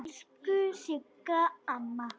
Elsku Sigga amma.